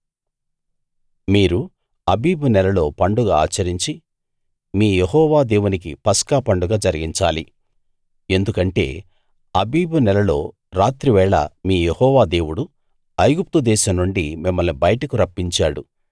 మీరు ఆబీబు నెలలో పండగ ఆచరించి మీ యెహోవా దేవునికి పస్కా పండగ జరిగించాలి ఎందుకంటే ఆబీబు నెలలో రాత్రివేళ మీ యెహోవా దేవుడు ఐగుప్తు దేశం నుండి మిమ్మల్ని బయటకు రప్పించాడు